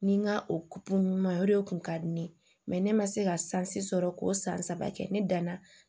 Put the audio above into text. Ni n ka kun ɲuman ye o de kun ka di ne ye ne ma se ka sansi sɔrɔ k'o san saba kɛ ne danna